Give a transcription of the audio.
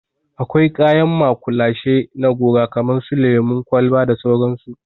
Akwai kayan maƙulashe na gora kamar su lemun kwalba da sauransu.